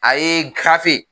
A ye gafe